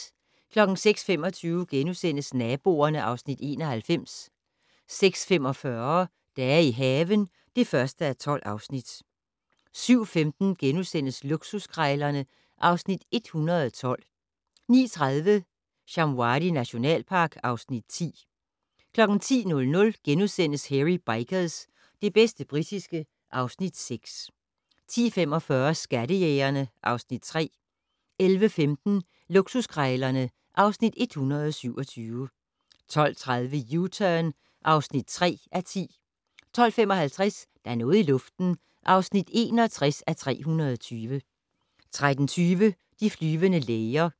06:25: Naboerne (Afs. 91)* 06:45: Dage i haven (1:12) 07:15: Luksuskrejlerne (Afs. 112)* 09:30: Shamwari nationalpark (Afs. 10) 10:00: Hairy Bikers - det bedste britiske (Afs. 6)* 10:45: Skattejægerne (Afs. 3) 11:15: Luksuskrejlerne (Afs. 127) 12:30: U-Turn (3:10) 12:55: Der er noget i luften (61:320) 13:20: De flyvende læger